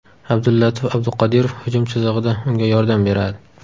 Abdulatif Abduqodirov hujum chizig‘ida unga yordam beradi.